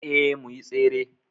Eh muyi Tsere